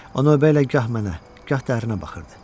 O növbə ilə gah mənə, gah dərinə baxırdı.